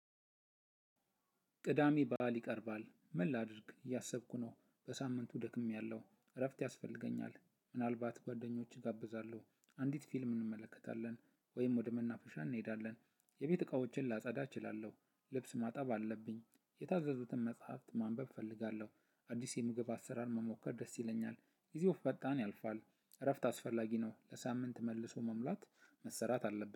ቅዳሜ ባዓል ይቀርባል ምን ላድርግ እያሰብኩ ነው በሳምንቱ ደክሜያለሁ እረፍት ያስፈልገኛል ምናልባት ጓደኞች እጋብዛለሁ አንዲት ፊልም እንመለከታለን ወይም ወደ መናፈሻ እንሄዳለን የቤት እቃዎችን ላጸዳ እችላለሁ ልብስ ማጠብ አለብኝ የታዘዙትን መጽሐፍት ማንበብ እፈልጋለሁ አዲስ የምግብ አሰራር መሞከር ደስ ይለኛል ጊዜው ፈጣን ያልፋል እረፍት አስፈላጊ ነው ለሳምንት መልሶ መሙላት መሰራት አለብ